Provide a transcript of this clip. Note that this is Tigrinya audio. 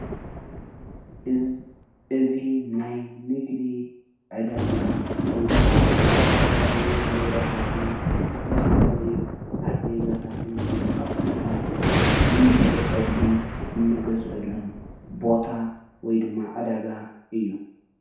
እዚ ናይ ንግዲ ዕዳጋ ኮይኑ ዝተፈላለዩ ንብረታትን ዝተፈላለዩ ኣስቤዛታትን ኣቁሕታትን እንሸጠሉን እንገዝአሉን ቦታ ወይድማ ዕዳጋ እዩ።